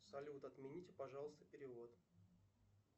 салют отмените пожалуйста перевод